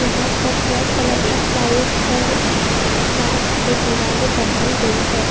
वहां पर black colour का प्लाइवुड और ग्लास से दिवालें बनाई गई है।